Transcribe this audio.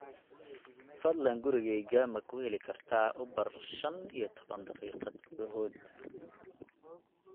fadlan gurigayga ma ku heli kartaa uber shan iyo toban daqiiqo gudahood